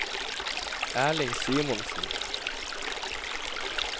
Erling Simonsen